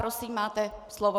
Prosím, máte slovo.